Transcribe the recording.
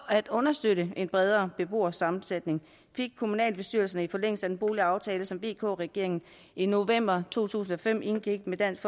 at understøtte en bredere beboersammensætning fik kommunalbestyrelserne i forlængelse af den boligaftale som vk regeringen i november to tusind og fem indgik med dansk